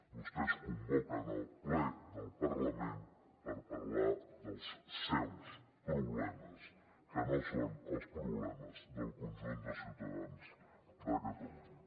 vostès convoquen el ple del parlament per parlar dels seus problemes que no són els problemes del conjunt de ciutadans de catalunya